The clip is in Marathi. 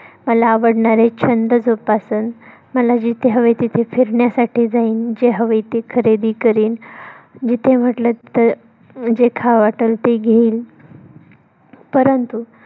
पूर्ण करील मला आवडणारे छंद जोपासन मला जिथे हवे तिथे फिरण्यासाठी जाईन. जे हवे ते खरेदी करीन. जिथ म्हंटल तिथ जे खावं वाटलं ते घेईल. परंतु